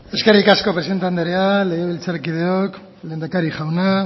eskerrik asko presidente andrea legebiltzarkideok lehendakari jauna